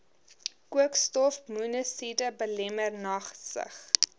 koolstofmonokside belemmer nagsig